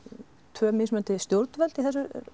tvö mismunandi stjórnvöld í